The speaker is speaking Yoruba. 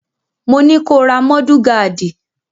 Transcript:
Mo ní ko ra mọ́dù gaádì!